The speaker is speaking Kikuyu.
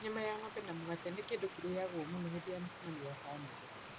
Nyama ya ng'ombe na mũgate nĩ kĩndũ kĩoyagwo mũno hĩndĩ ya mĩcemanio ya bamĩrĩ.